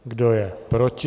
Kdo je proti?